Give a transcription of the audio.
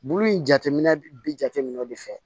Bulu in jateminɛ bi jateminɛw de fɛ